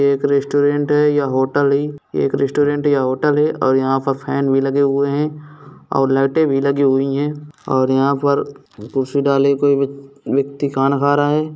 एक रेस्टोरेंट है या होटल है एक रेस्टोरेंट या होटल है और यहां पर फैन भी लगे हुए है और लाइटें भी लगी हुई है और यहां पर कुर्सी डाले को-कोई व्यक्ति खाना खा रहे हैं।